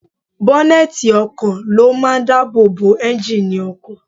Bọ́nẹ́ẹ̀tì ọkọ̀ ló máa ń dáàbò bo ẹ́ńjíìnnì ọkọ̀.